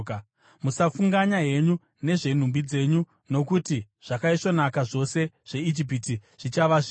Musafunganya henyu nezvenhumbi dzenyu, nokuti zvakaisvonaka zvose zveIjipiti zvichava zvenyu.’ ”